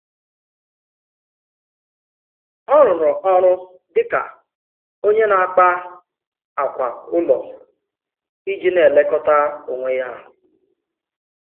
Ọ̀ rụrụ̀ ọrụ dị̀ ka onye na-akpà ákwà ụlọ iji na-elekọta onwe ya.